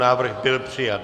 Návrh byl přijat.